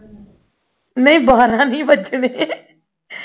ਨਹੀਂ ਬਾਰਾਂ ਨਹੀਂ ਵੱਜਣੇ